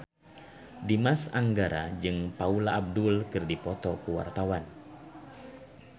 Dimas Anggara jeung Paula Abdul keur dipoto ku wartawan